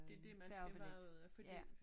Det dét man skal være ude fordi